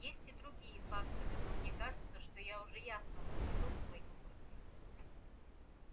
есть и другие факторы но мне кажется что я уже ясно высказал свою мысль